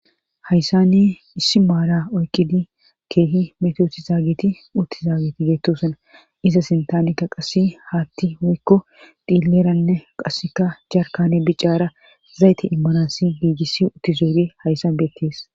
hayssani issi maara oykidi keehi metoooti zaagiti utti zaageti geettosuna iza sintaamikka qassi haatti hoykko dhiilleralne qasseka jarkane bicaara zayte immanasi giigisi utti zeuri hayssabetees